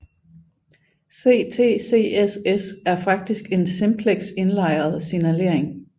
CTCSS er faktisk en simplex indlejret signalering